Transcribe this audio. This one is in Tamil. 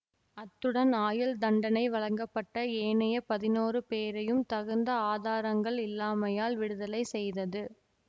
அத்துடன் ஆயுள்தண்டனை வழங்கப்பட்ட ஏனைய பதினோறு பேரையும் தகுந்த ஆதாரங்கள் இல்லாமையால் விடுதலை செய்தது